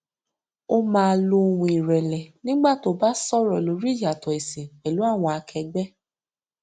ó máa lo ohùn ìrẹlẹ nígbà tó bá sọrọ lórí ìyàtọ ẹsìn pẹlú àwọn akẹgbẹ